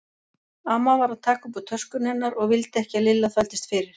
Amma var að taka upp úr töskunni hennar og vildi ekki að Lilla þvældist fyrir.